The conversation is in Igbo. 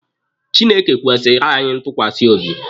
Chineke kwesiirị anyị ntukwasi obi.